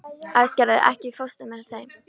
Æsgerður, ekki fórstu með þeim?